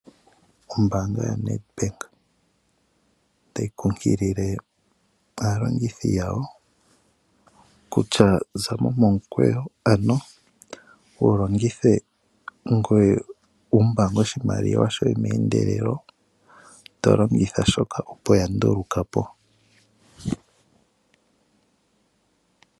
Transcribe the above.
Ombanga yoNedbank tayi kunkilile aalongithi yawo kutya zamo momukweyo ano wu longithe ngoye wumbange oshimaliwa shoye mendelelo tolongitha shoka opo ya ndulukapo.